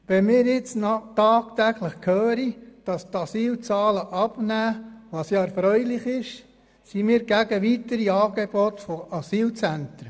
Wir hören aber tagtäglich, dass die Asylzahlen abnehmen, was erfreulich ist, und deshalb sind wir gegen weitere Angebote von Asylzentren.